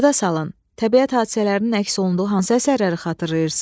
Yada salın, təbiət hadisələrinin əks olunduğu hansı əsərləri xatırlayırsınız?